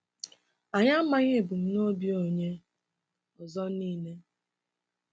Anyị amaghị ebumnobi onye ọzọ niile.